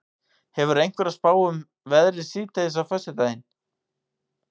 hefurðu einhverja spá um veðrið síðdegis á föstudag